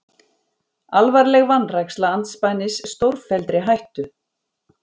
Alvarleg vanræksla andspænis stórfelldri hættu